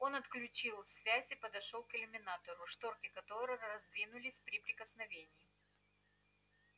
он отключил связь и подошёл к иллюминатору шторки которого раздвинулись при прикосновении